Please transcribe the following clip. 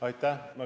Aitäh!